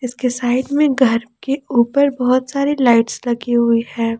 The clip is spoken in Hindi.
उसके साइड में घर के ऊपर बहुत सारी लाइट्स लगी हुई है।